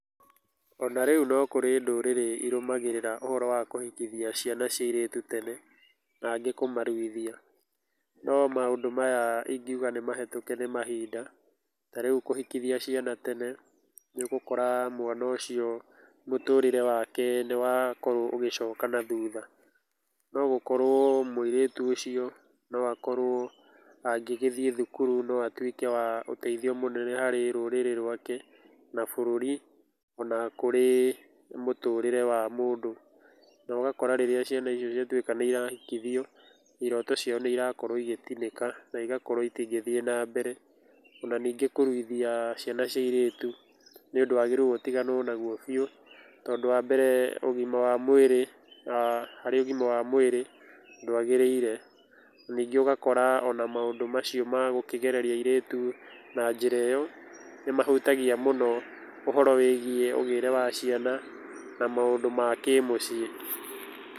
Ona rĩu no kũrĩ ndũrĩrĩ irũmagĩrĩra ũhoro wa kũhikithia ciana cia airĩtu tene na angĩ kũmaruithia, no maũndũ maya ingiuga nĩ mahetũke nĩ mahinda ta rĩu kũhikithia ciana tene, nĩ ũgũkora mwana ũcio mũtũrĩre wake nĩ wakorwo ũgĩcoka na thutha, no gũkorwo mũirĩtu ũcio no akorwo angĩthiĩ thukuru no akorwo arĩ wa ũteithio mũnene mũno harĩ rũrĩrĩ rwake na bũrũri ona kũrĩ mũtũrĩre wa mũndũ, na ũgakora rĩrĩa ciana icio ciatuĩka nĩ irahikithio iroto ciao nĩ iratuĩka ĩgĩtinĩka na igakorwo itingĩthiĩ na mbere. Ona ningĩ kũruithia ciana cia airĩtu nĩ ũndũ wagĩrĩirwo ũtiganwo na guo biũ, tondũ ũgima wa mwĩrĩ aah harĩ ũgima wa mwĩrĩ ndwagĩrĩire, ningĩ ũgakora ona maũndũ macio magũkĩgereria airĩtu na njĩra ĩyo nĩ mahutagia mũno ũhoro wĩgie ũgĩre wa ciana na maũndũ ma kĩmũciĩ.